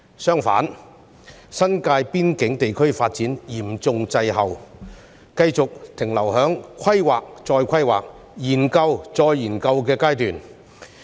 相反，新界邊境地區的發展嚴重滯後，繼續停留在規劃再規劃，研究再研究的階段。